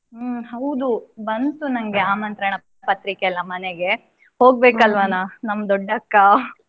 ಹ್ಮ್ ಹೌದು ಬಂತು ನನ್ಗೆ ಆಮಂತ್ರಣ ಪತ್ರಿಕೆ ಎಲ್ಲಾ ಮನೆಗೆ, ಹೋಗ್ಬೇಕ್ ಅಲ್ವನ ನಮ್ಮ್ ದೊಡ ಅಕ್ಕ.